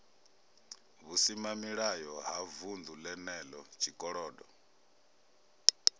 vhusimamilayo ha vunḓu lenelo tshikolodo